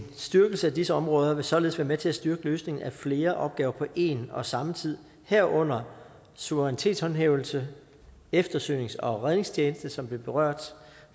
styrkelse af disse områder vil således være med til at styrke løsningen af flere opgaver på en og samme tid herunder suverænitetshåndhævelse eftersøgnings og redningstjeneste som blev berørt